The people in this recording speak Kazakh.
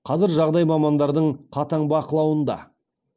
қазір жағдай мамандардың қатаң бақылауында